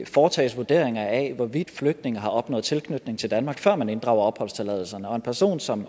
foretages vurderinger af hvorvidt flygtninge har opnået tilknytning til danmark før man inddrager opholdstilladelsen og en person som